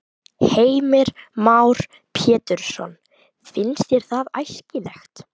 Heimir Már Pétursson: Finnst þér það æskilegt?